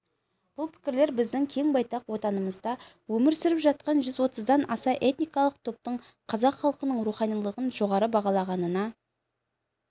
бұл пікірлер біздің кең байтақ отанымызда өмір сүріп жатқан жүз отыздан аса этникалық топтың қазақ халқының руханилығын жоғары бағалағанына